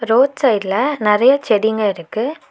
Road சைட்ல நெறைய செடிங்க இருக்கு.